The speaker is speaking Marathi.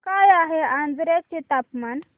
काय आहे आजर्याचे तापमान